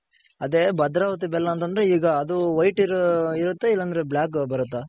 ಅದೆ ಭದ್ರಾವತಿ ಬೆಲ್ಲ ಅಂತ ಅಂದ್ರೆ ಈಗ ಅದು white ಇರುತ್ತಾ ಇಲ್ಲ black ಬರುತ್ತಾ.